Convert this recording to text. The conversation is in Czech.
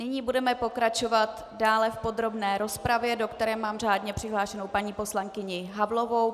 Nyní budeme pokračovat dále v podrobné rozpravě, do které mám řádně přihlášenou paní poslankyni Havlovou.